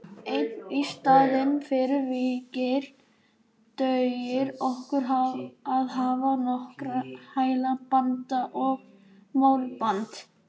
En í staðinn fyrir vinkil dugir okkur að hafa nokkra hæla, band og málband.